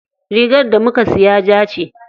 Rigar da muka siya ja ce.